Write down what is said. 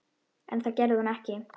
En það gerði hún ekki.